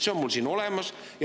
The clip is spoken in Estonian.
See on mul siin olemas.